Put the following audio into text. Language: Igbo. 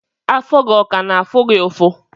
Afọ gi ọ ka na-afụ gi ụfụ?